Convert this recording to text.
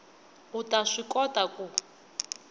u ta swi kota ku